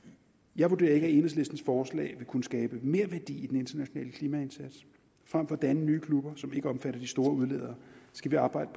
jeg vurderer ikke at enhedslistens forslag vil kunne skabe merværdi i den internationale klimaindsats frem for at danne nye klubber som ikke omfatter de store udledere skal vi arbejde